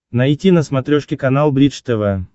найти на смотрешке канал бридж тв